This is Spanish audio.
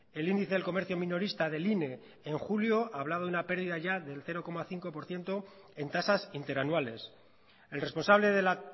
el índice del comercio minorista del ine en julio hablaba de una pérdida ya del cero coma cinco por ciento en tasas interanuales el responsable de la